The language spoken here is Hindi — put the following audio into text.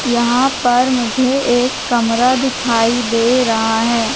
यहां पर मुझे एक कमरा दिखाई दे रहा है।